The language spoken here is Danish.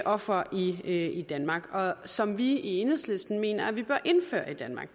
ofre i danmark og som vi i enhedslisten mener at vi bør indføre i danmark